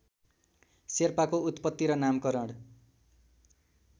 शेर्पाको उत्पत्ति र नामकरण